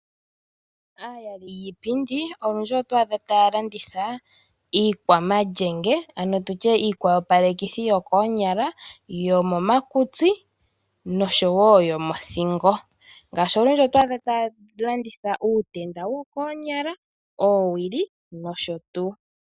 Aapindiki olundji oto adha taya landitha omalyenge nenge iikwaopalekithi yokoonyala, yomomakutsi noshowo yomothingo. Olundji oto adha taya landitha uutenda wokoonyala, oowili nosho tuu.